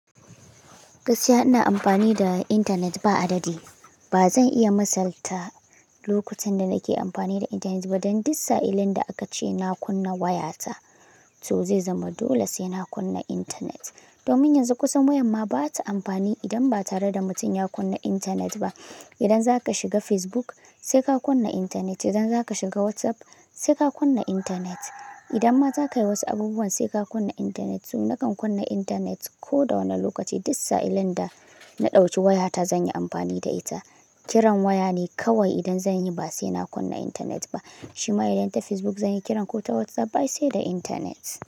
Gaskiya ina amfani da intanet ba adadi. Ba zan iya misalta lokutan da nake amfani da intanet ba dan duk sa'illin da aka ce na kunna wayata, to zai zama dole sai na kunna intanet. Domin yanzu kusan wayan ba ta amfani idan ba tare da mutum ya kunna intanet ba. Idan za ka shiga Facebook sai ka kunna intanet, idan za ka shiga WhatsApp sai ka kunna intanet. Idan ma za ka yi wasu abubuwan sai ka kunna intanet. To nakan kunna intanet ko da wane lokaci. Duk sa'illin da na ɗauci wayata zan yi amfani da ita. Kiran waya ne kawai idan zan yi ba sai na kunna intanet ba. Shima idan ta Facebook zan yi kiran ko ta WhatsApp ba sai da intanet.